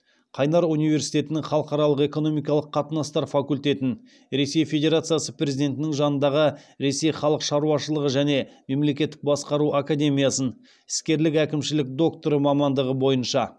қайнар университетінің халықаралық экономикалық қатынастар факультетін ресей федерациясы президентінің жанындағы ресей халық шаруашылығы және мемлекеттік басқару академиясын іскерлік әкімшілік докторы мамандығы бойынша